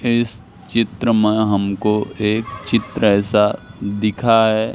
इस चित्र में हमको एक चित्र ऐसा दिखा है।